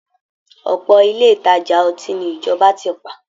Ọ̀pọ̀ ilé ìtajà ọtí ni ìjọba tì pa